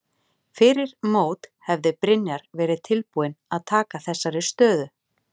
Fyrir mót hefði Brynjar verið tilbúinn að taka þessari stöðu?